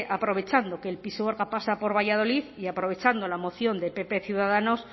aprovechando que el pisuerga pasa por valladolid y aprovechando la moción de pp ciudadanos